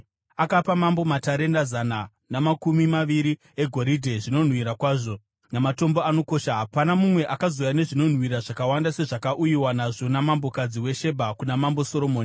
Akapa mambo matarenda zana namakumi maviri egoridhe, zvinonhuhwira kwazvo, namatombo anokosha. Hapana mumwe akazouya nezvinonhuhwira zvakawanda sezvakauyiwa nazvo namambokadzi weShebha kuna Mambo Soromoni.